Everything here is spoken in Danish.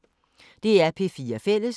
DR P4 Fælles